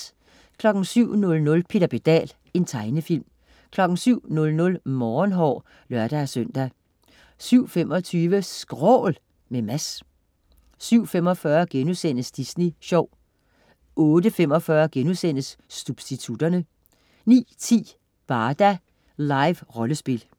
07.00 Peter Pedal. Tegnefilm 07.00 Morgenhår (lør-søn) 07.25 SKRÅL, med Mads 07.45 Disney sjov* 08.45 Substitutterne* 09.10 Barda. Liverollespil